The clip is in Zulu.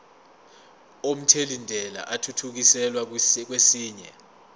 omthelintela athuthukiselwa kwesinye